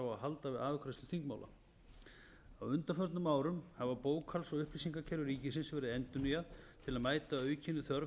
á að halda við afgreiðslu þingmála á undanförnum árum hafa bókhalds og upplýsingakerfi ríkisins verið endurnýjuð til að mæta aukinni þörf